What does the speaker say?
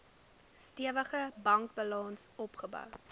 stewige bankbalans opgebou